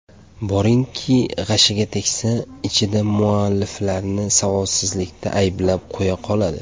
Boringki, g‘ashiga tegsa, ichida mualliflarni savodsizlikda ayblab qo‘ya qoladi.